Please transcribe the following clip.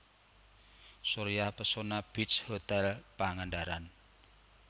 Surya Pesona Beach Hotel Pangandaran